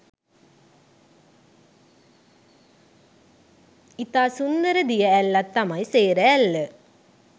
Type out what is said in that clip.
ඉතා සුන්දර දිය ඇල්ලක් තමයි සේර ඇල්ල.